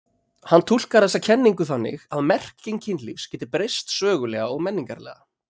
Hann túlkar þessa kenningu þannig að merking kynlífs geti breyst sögulega og menningarlega.